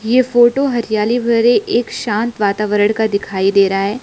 ये फोटो हरियाली भरे एक शांत वातावरण का दिखाई दे रहा है।